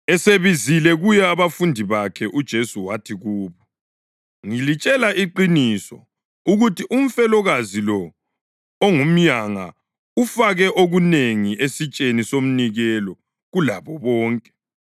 Esebizele kuye abafundi bakhe uJesu wathi kubo, “Ngilitshela iqiniso ukuthi umfelokazi lo ongumyanga ufake okunengi esitsheni somnikelo kulabo bonke.